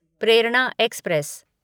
Prerna express